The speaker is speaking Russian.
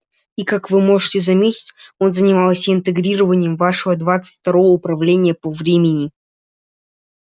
и как вы можете заметить он занимался интегрированием вашего двадцать второго уравнения по времени